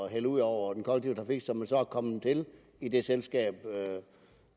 hælde ud over den kollektive så er kommet til i det selskab